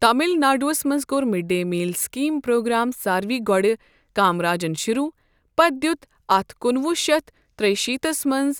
تمل ناڈوس منٛز کوٚر midday meal scheme programme ساروٕے گۄڈٕ کامراجن شروع ، پتہٕ دِیُت اتھ کُنہٕ وُہ شیتھ تریِہ شیتھس منٛز